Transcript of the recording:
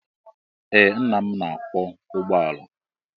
Ee nna m na-akwọ ụgbọala.